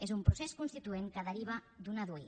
és un procés constituent que deriva d’una dui